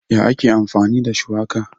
Ya ake amfani da shuwaka?